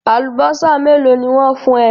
Àlùbọ́sà mélòó ni wọ́n fún ẹ?